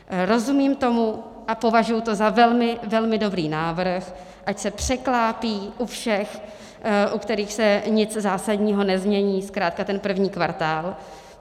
Rozumím tomu a považuji to za velmi, velmi dobrý návrh, ať se překlápí u všech, u kterých se nic zásadního nezmění, zkrátka ten první kvartál.